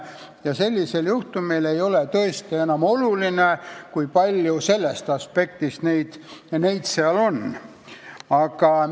Ja sellisel juhtumil ei ole tõesti enam oluline, kui palju ministreid valitsuses on.